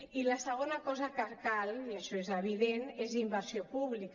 i la segona cosa que cal i això és evident és inversió pública